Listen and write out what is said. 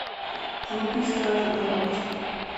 вруби стражи галактики